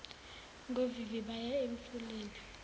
ngovivi baya emfuleni